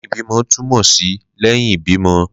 Lẹhin ibimọ tumọ si lẹhin ibimọ